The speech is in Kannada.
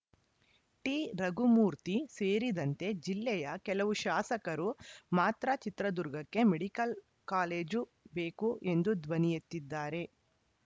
ಟಿರಘುಮೂರ್ತಿ ಸೇರಿದಂತೆ ಜಿಲ್ಲೆಯ ಕೆಲವು ಶಾಸಕರು ಮಾತ್ರ ಚಿತ್ರದುರ್ಗಕ್ಕೆ ಮೆಡಿಕಲ್‌ ಕಾಲೇಜು ಬೇಕು ಎಂದು ಧ್ವನಿಯೆತ್ತಿದ್ದಾರೆ